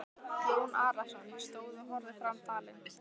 Jón Arason stóð og horfði fram dalinn.